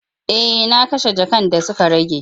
E, na kashe jakan da suka rage.